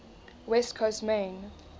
west coast main